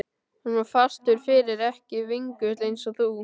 Hann var fastur fyrir, ekki vingull eins og þú.